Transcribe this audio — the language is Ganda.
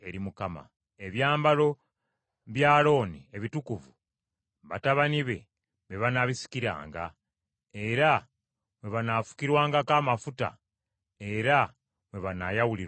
“Ebyambalo bya Alooni ebitukuvu, batabani be, be banaabisikiranga, era mwe banaafukirwangako amafuta, era mwe banaayawulirwanga.